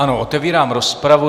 Ano, otevírám rozpravu.